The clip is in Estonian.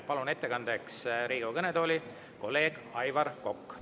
Palun ettekandeks Riigikogu kõnetooli kolleeg Aivar Koka.